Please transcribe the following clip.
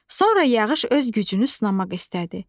Sonra yağış öz gücünü sınamaq istədi.